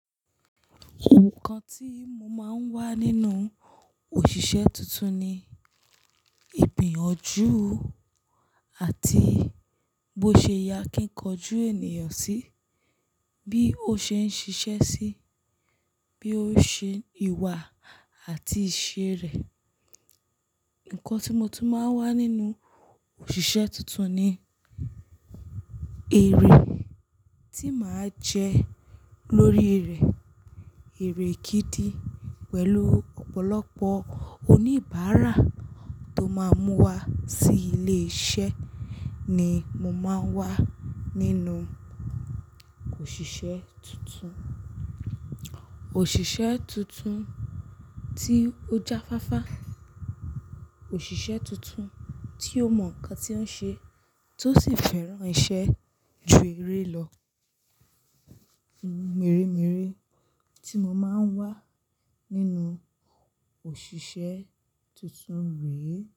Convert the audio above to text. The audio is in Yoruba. Nǹkan tí mo máa ń wá nínú òṣìṣẹ́ tuntun ni, ìgbiyanju àti bó ṣe ya akin kọjú ènìyàn sí bí ó ṣe ń ṣiṣẹ́ sí, bí ó ṣe ìwà àti ìṣe rẹ̀. Nǹkan tí mo tún máa ń wá nínú òṣìṣẹ́ tuntun ni, èrè tí màá jẹ́ lórí rẹ̀. Èrè gidi pẹ̀lú ọ̀pọ̀lọpọ̀ oníbàárà tó máa ń mú wá sí ilé iṣẹ́ ni mo máa ń wá nínú òṣìṣẹ́ tuntun. Òṣìṣẹ́ tuntun tí ó jáfáfá, òṣìṣẹ́ tuntun tí ó mọ nǹkan tí ó ń ṣe tó sì fẹ́ràn iṣẹ́ ju eré lọ. Mìírìmíírì tí mo máa ń wá nínú òṣìṣẹ́ tuntun rèé.